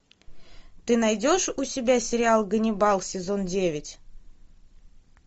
ты найдешь у себя сериал ганнибал сезон девять